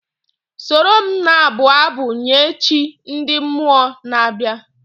Soro m na-abụ abụ nye chi ndị mmụọ na-abịa!.